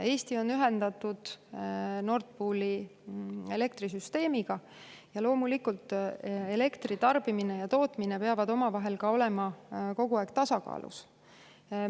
Eesti on ühendatud Nord Pooli elektrisüsteemiga ja loomulikult, elektri tarbimine ja tootmine peavad omavahel kogu aeg tasakaalus olema.